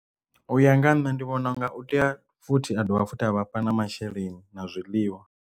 U ya nga ha nṋe ndi vhona unga u tea futhi a dovha futhi a vhafha na masheleni na zwiḽiwa.